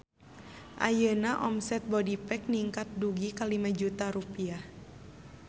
Ayeuna omset Bodypack ningkat dugi ka 5 juta rupiah